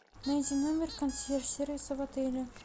найди номер консьерж сервиса в отеле